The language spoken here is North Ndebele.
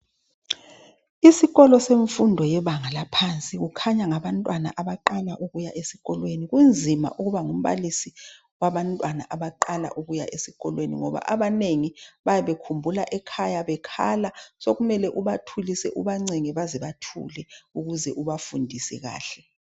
Isikolo semfundo yebanga yaphansi okukhanya ngabantwana abaqala ukuya esikolo. Kunzima ukuba ngumbalisi wabantwana abaqala ukuya sikolweni ngoba abanengi bayabe bekhumbula ekhaya, bekhala sekumele ubathulise ubancenge bazebathule ukuze ubafundise kahle.